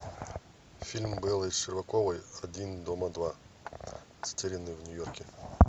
фильм беллы щербаковой один дома два затерянный в нью йорке